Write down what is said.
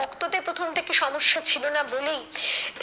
রক্ততে প্রথম থেকে সমস্যা ছিলোনা বলেই,